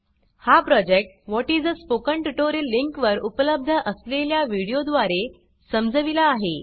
हा project what is a spoken tutorial link वर उपलब्ध असलेल्या वीडियो द्वारे समजविला आहे